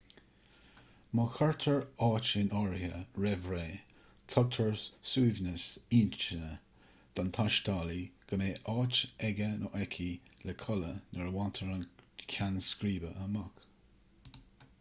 má chuirtear áit in áirithe roimh ré tugtar suaimhneas intinne don taistealaí go mbeidh áit aige/aice le codladh nuair a bhaintear an ceann scríbe amach